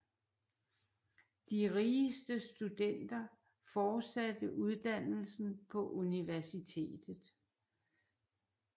De rigeste studenter fortsatte uddannelsen på universitetet